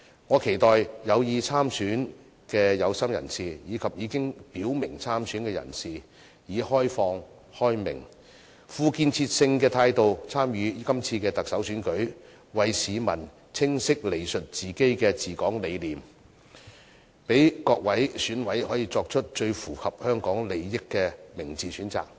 我期待有意參選的有心人士，以及已經表明參選的人士，以開明、開放、富建設性的態度參與這次特首選舉，為市民清晰闡述自己的治港理念，讓各位選委作出最符合香港利益的明智選擇。